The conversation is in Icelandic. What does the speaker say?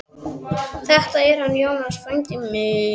Þetta er hann Jónas, frændi minn.